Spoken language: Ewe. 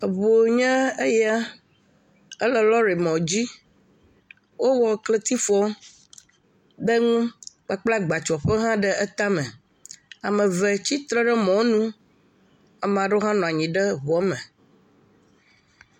Eŋu nye eya. Ele lɔrimɔdzi. Wowɔ kletifu ɖe eŋu kpakple agbatsɔƒe ɖe etame. Ame eve tsi tre ɖe mɔɔnu. Ame aɖewo hã nɔ anyi ɖe ŋua me.